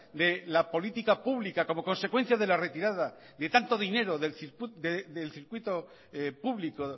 de la política pública como consecuencia de la retirada de tanto dinero del circuito público